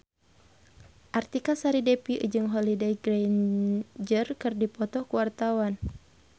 Artika Sari Devi jeung Holliday Grainger keur dipoto ku wartawan